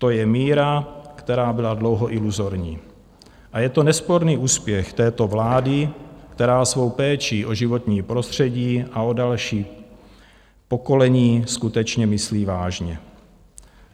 To je míra, která byla dlouho iluzorní, a je to nesporný úspěch této vlády, která svou péči o životní prostředí a o další pokolení skutečně myslí vážně.